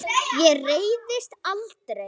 Ég reiðist aldrei.